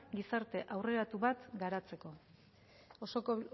gizarte aurreratu bat garatzeko